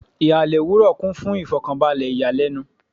Ihalẹ owurọ owurọ kun fun ifokanbalẹ iyalẹnu